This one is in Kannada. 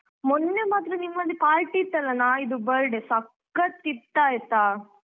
ಮೊನ್ನೆ ಮಾತ್ರ ನಿಮ್ಮಲ್ಲಿ party ಇತ್ತಲ್ಲ ನಾಯಿದು birthday ಸಖತ್ ಇತ್ ಆಯ್ತಾ.